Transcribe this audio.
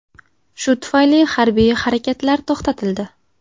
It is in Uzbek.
Shu tufayli harbiy harakatlar to‘xtatildi.